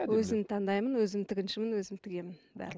өзім таңдаймын өзім тігіншімін өзім тігемін